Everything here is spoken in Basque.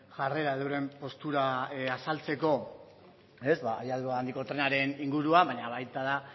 jarrera edo euren postura azaltzeko habiadura handiko trenareninguruan baina baita